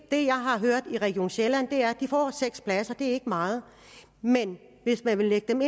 det jeg har hørt i region sjælland er at de får seks pladser det er ikke meget men hvis man vil lægge dem